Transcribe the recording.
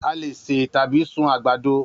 A lè ṣe tàbí sun àgbàdo